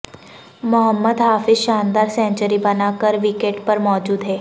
محمد حفیظ شاندار سنچری بنا کر وکٹ پر موجود ہیں